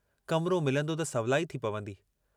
कमरो मिलंदो त सवलाई थी पवंदी।